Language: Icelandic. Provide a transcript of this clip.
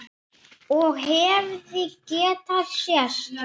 Og hefði getað sést.